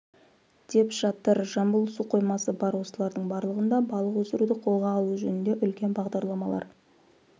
деп жатыр жамбыл су қоймасы бар осылардың барлығында балық өсіруді қолға алу жөнінде үлкен бағдарламалар